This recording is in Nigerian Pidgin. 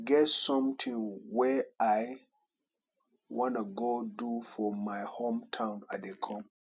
Get something wey i wanna go do for my hometown i dey come